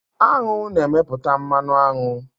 Aṅụ na-emepụta mmanụ aṅụ